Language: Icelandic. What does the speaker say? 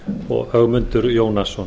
og ögmundur jónasson